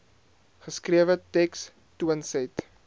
geskrewe teks toonset